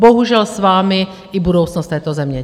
Bohužel s vámi i budoucnost této země!